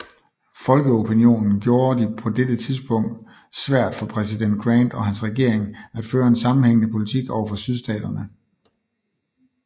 Folkeopinionen gjorde de på dette tidspunkt svært for præsident Grant og hans regering at føre en sammenhængende politik overfor Sydstaterne